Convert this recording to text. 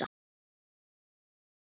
Stingur pokanum í það.